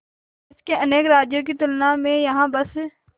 देश के अनेक राज्यों की तुलना में यहाँ बस